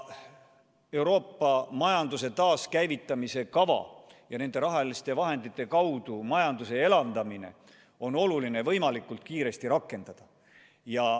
Euroopa majanduse taaskäivitamise kava on oluline võimalikult kiiresti rakendada ja nende rahaliste vahendite kaudu majandust elavdada.